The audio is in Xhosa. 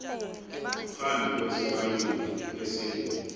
phambi kwesibaluli esingu